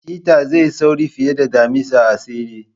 Chetta zai yi sauri fiye da damisa a tseren.